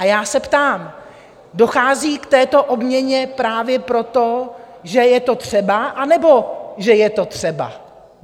A já se ptám: Dochází k této obměně právě proto, že je to třeba, anebo že je to třeba?